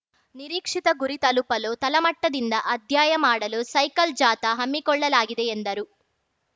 ನಿರೀಕ್ಷಿತ ಗುರಿ ತಲುಪಲು ತಳಮಟ್ಟದಿಂದ ಅಧ್ಯಯ ಮಾಡಲು ಸೈಕಲ್‌ ಜಾಥಾ ಹಮ್ಮಿಕೊಳ್ಳಲಾಗಿದೆ ಎಂದರು